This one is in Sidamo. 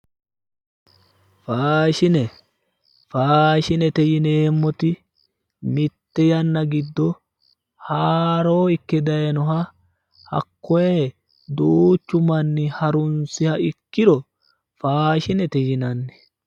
Faashine faashinete yineemmoti mitte yanna giddo haaro ikke dayiinoha hakkoye duuchu manni harunsiha ikkiro faashinete yinanni.